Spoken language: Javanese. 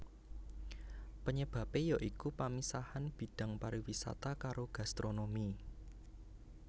Panyebabé ya iku pamisahan bidhang pariwisata karo gastronomi